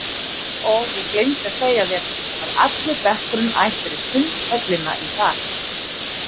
Ó, ég gleymdi að segja þér að allur bekkurinn ætlar í Sundhöllina í dag